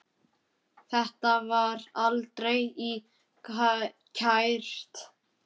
Þetta var aldrei kært.